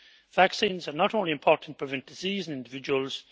Vaccines are not only important to prevent disease in individuals